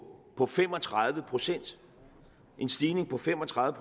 på fem og tredive procent en stigning på fem og tredive